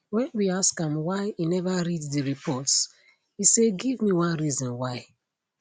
wen we ask am why e neva read di reports e say give me one reason why